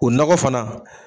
O nɔgɔ fana.